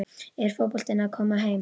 Er fótboltinn að koma heim?